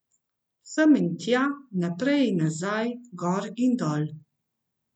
Sem in tja, naprej in nazaj, gor in dol.